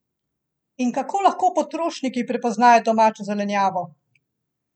In kako lahko potrošniki prepoznajo domačo zelenjavo?